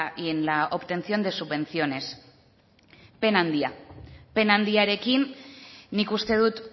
y en la obtención de subvenciones pena handia pena handiarekin nik uste dut